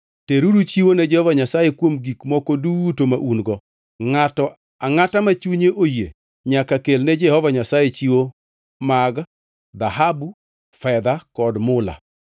Teruru chiwo ne Jehova Nyasaye kuom gik moko duto ma un-go. Ngʼato angʼata ma chunye oyie nyaka kel ne Jehova Nyasaye chiwo mag: “dhahabu, fedha kod mula;